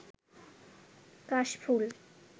কাশফুল